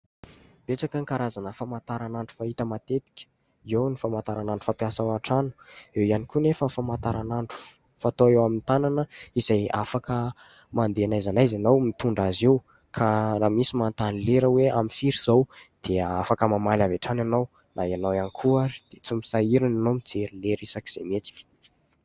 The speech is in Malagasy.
Betsaka ny karazana famantaranandro fahita matetika. Eo ny famantaranandro fampiasa ao an-trano, eo iany koa nefa ny famantaranandro fatao eo amin'ny tanana izay afaka mandeha n'aiza n'aiza ianao mitondra azy io ka raha misy manontany lera hoe : amin'ny firy izao ? Dia afaka mamaly avy hatrany ianao. Na ianao iany koa ary dia tsy misahirana ianao mijery lera isak'izay mihetsika.